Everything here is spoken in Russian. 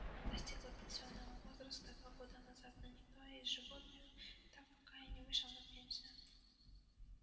она достигла пенсионного возраста два года назад но никто из животных так пока и не вышел на пенсию